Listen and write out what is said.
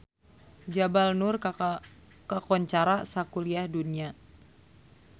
Jabal Nur kakoncara sakuliah dunya